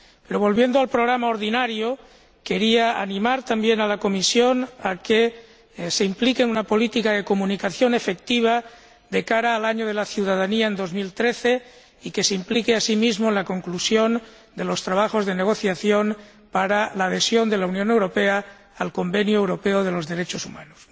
Pero, volviendo al programa ordinario, quería animar también a la Comisión a que se implique en una política de comunicación efectiva de cara al año de la ciudadanía, en 2013, y que se implique asimismo en la conclusión de los trabajos de negociación para la adhesión de la Unión Europea al Convenio Europeo de los Derechos Humanos.